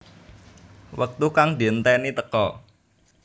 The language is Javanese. Wektu kang dienteni teka